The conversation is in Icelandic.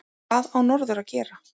Hvað á norður að gera?